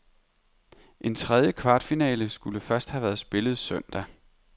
En tredje kvartfinale skulle først have været spillet søndag.